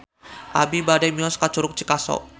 Abi bade mios ka Curug Cikaso